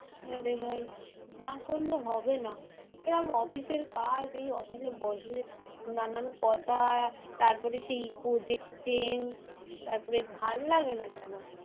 হ্যাঁ রে ভাই, না করলে হবে না এরম অফিসের কাজ এই অফিসে বসে নানান কথা। তারপরে সেই project change তারপরে ভালো লাগে না যেন।